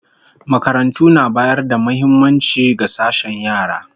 Makarantu na bayar da muhimmaci ga sashen yara